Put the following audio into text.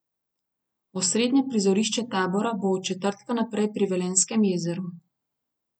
Osrednje prizorišče tabora bo od četrtka naprej pri Velenjskem jezeru.